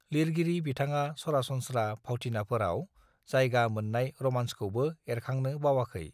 लिरगिरि बिथाङा सरासनस्त्रा फावथिनाफोराव जायगा मोन्नाय रमान्सखौबो एरखांनो बावाखै